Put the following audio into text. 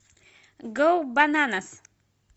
гоу бананас